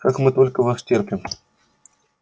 как мы только вас терпим